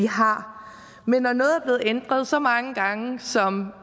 har men når noget er blevet ændret så mange gange som